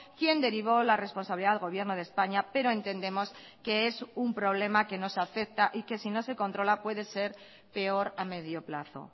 quien derivó la responsabilidad al gobierno de españa pero entendemos que es un problema que nos afecta y que si no se controla puede ser peor a medio plazo